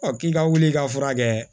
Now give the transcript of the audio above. k'i ka wuli ka furakɛ